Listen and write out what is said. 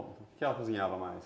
O que ela cozinhava mais?